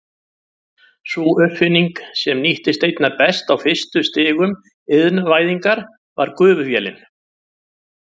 Sú uppfinning sem nýttist einna best á fyrstu stigum iðnvæðingar var gufuvélin.